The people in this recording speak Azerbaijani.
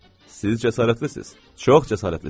Siz cəsarətlisiz, çox cəsarətlisiz.